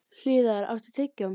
Hlíðar, áttu tyggjó?